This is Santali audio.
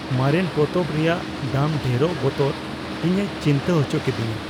ᱢᱟᱨᱮᱱ ᱯᱚᱛᱚᱵ ᱨᱮᱭᱟᱜ ᱫᱟᱢ ᱰᱷᱮᱨᱚᱜ ᱵᱚᱛᱚᱨ ᱤᱧᱮ ᱪᱤᱱᱛᱟᱹ ᱚᱪᱚ ᱠᱮᱫᱮᱧᱟ ᱾